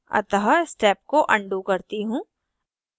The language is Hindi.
अतः step को अनडू करती हूँ